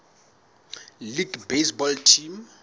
league baseball team